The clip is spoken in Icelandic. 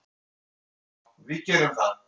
Já, við gerum það. Bless.